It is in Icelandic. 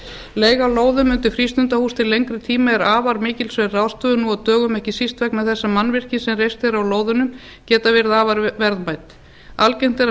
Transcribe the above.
leiga á lóðum undir frístundahús til lengri eiga er afar mikilsverð ráðstöfun nú á dögum ekki síst vegna þess að mannvirki sem reist eru á lóðunum geta verið afar verðmæt algengt er að